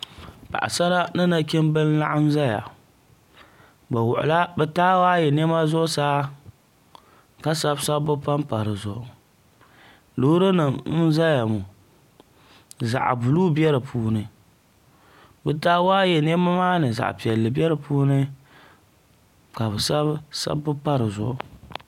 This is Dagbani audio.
paɣasara ni nachimbi n laɣam ʒɛya bi wuɣula bi taawaayɛ niɛma zuɣusaa ka sabi sabbu panpa dizuɣu loori nim n ʒɛya ŋo zaɣ buluu bɛ di puuni bi taawaayɛ niɛma maa ni zaɣ piɛlli bɛ di puuni ka bi sabi sabbu pa dizuɣu